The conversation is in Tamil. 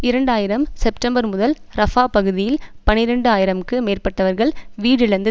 இரண்டு ஆயிரம் செப்டம்பர் முதல் ரஃபா பகுதியில் பனிரண்டு ஆயிரம்க்கு மேற்பட்டவர்கள் வீடிழந்து